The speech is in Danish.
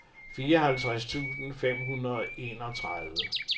fireoghalvtreds tusind fem hundrede og enogtredive